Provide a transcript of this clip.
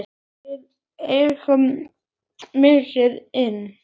Við eigum mikið inni.